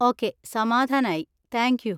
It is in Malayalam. ഓക്കേ, സമാധാനായി, താങ്ക് യൂ!